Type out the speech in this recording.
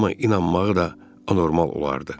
amma inanmağı da anormal olardı.